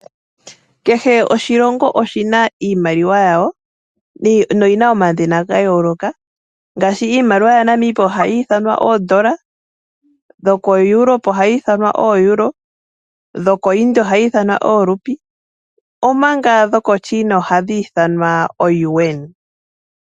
Kehe oshilongo oshina iimaliwa yawo noyina omadhina ga yooloka ngaashi iimaliwa yaNamibia ohayi ithanwa oondola ,yokoEuropa ohayi ithanwa ooeuro dhoko India ohayi ithanwa oorupi omanga dhokoChina ohadhi ithanwa ooyuwena.